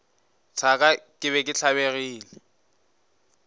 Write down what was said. thaka ke be ke tlabegile